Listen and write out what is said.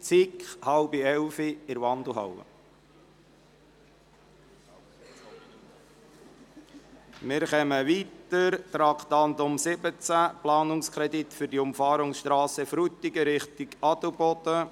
Wir kommen zum Traktandum 17 mit dem Titel «Planungskredit für die Umfahrungsstrasse Frutigen Richtung Adelboden».